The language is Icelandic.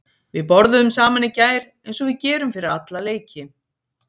Við borðuðum saman í gær eins og við gerum fyrir alla leiki.